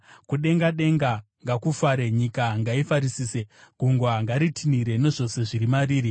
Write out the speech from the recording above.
Kudenga denga ngakufare, nyika ngaifarisise; gungwa ngaritinhire, nezvose zviri mariri;